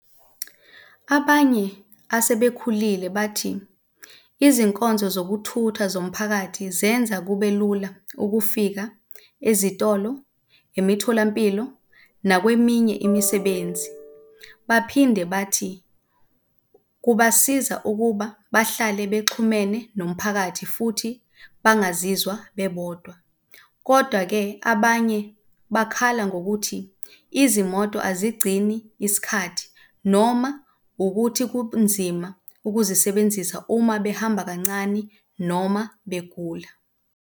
Abanye asebekhulile bathi izinkonzo zokuthutha zomphakathi zenza kube lula ukufika ezitolo, emitholampilo nakweminye imisebenzi. Baphinde bathi kubasiza ukuba bahlale bexhumene nomphakathi futhi bangazizwa bebodwa. Kodwa-ke, abanye bakhala ngokuthi izimoto azigcini isikhathi noma ukuthi kunzima ukuzisebenzisa uma behamba kancani noma begula.